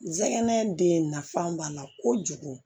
Zɛgɛn den nafan b'a la kojugu